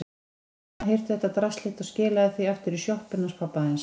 Hérna, hirtu þetta drasl þitt og skilaðu því aftur í sjoppuna hans pabba þíns.